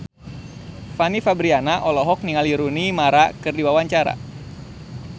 Fanny Fabriana olohok ningali Rooney Mara keur diwawancara